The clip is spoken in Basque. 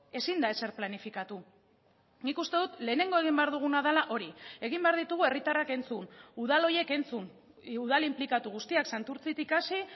ezin da ezer planifikatu nik uste dut lehenengo egin behar duguna dela hori egin behar ditugu herritarrak entzun udal horiek entzun udal inplikatu guztiak santurtzitik hasi